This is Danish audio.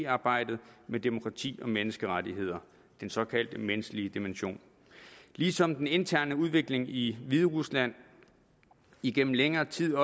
arbejdet med demokrati og menneskerettigheder den såkaldt menneskelige dimension ligesom den interne udvikling i hviderusland igennem længere tid